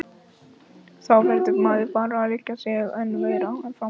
Þá verður maður bara að leggja sig enn meira fram.